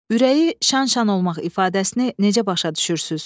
Ürəyi şan-şan olmaq ifadəsini necə başa düşürsüz?